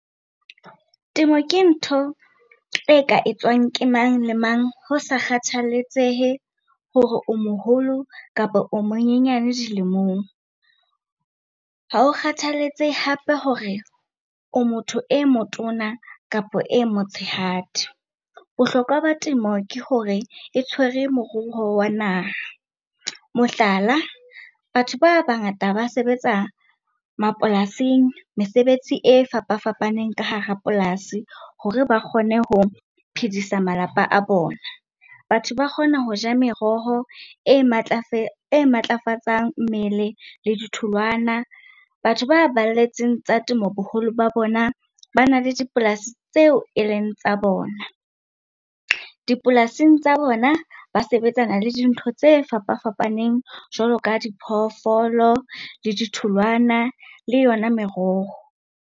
Temo ke ntho e ka etswang ke mang le mang ho sa kgathaletsehe hore o moholo kapa o monyane dilemong. Ha o kgathaletsehe hape hore o motho e motona kapa e motshehadi. Bohlokwa ba temo ke hore e tshwere moruo wa naha. Mohlala, batho ba bangata ba sebetsa mapolasing, mesebetsi e fapafapaneng ka hara polasi hore ba kgone ho phedisa malapa a bona. Batho ba kgona ho ja meroho e e matlafatsang mmele le ditholwana. Batho ba baletseng tsa temo boholo ba bona bana le dipolasi tseo e leng tsa bona. Dipolasing tsa bona, ba sebetsana le dintho tse fapafapaneng jwalo ka diphoofolo, le ditholwana le yona meroho.